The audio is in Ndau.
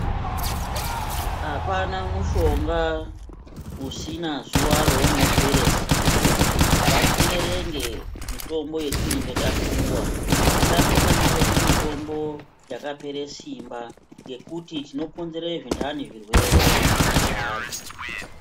Apana mushonga usina zuwa raunooera Simba ngatierenge mitombo yatinenge tapuwa isapa vanenge vedu mitombo yakaoera semba yekuti isapedzera andani zvirwere mavari.